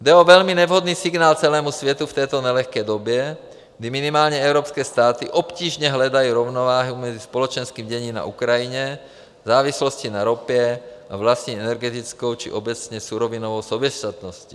Jde o velmi nevhodný signál celému světu v této nelehké době, kdy minimálně evropské státy obtížně hledají rovnováhu mezi společenským děním na Ukrajině, závislostí na ropě a vlastní energetickou či obecně surovinovou soběstačností.